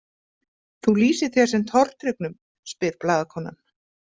Þú lýsir þér sem tortryggnum, spyr blaðakonan.